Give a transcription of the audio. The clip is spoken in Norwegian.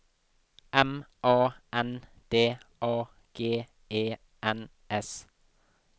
M A N D A G E N S